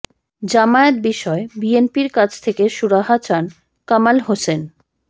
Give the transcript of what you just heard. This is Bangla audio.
জামায়াত বিষয়ে বিএনপির কাছ থেকে সুরাহা চান কামাল হোসেন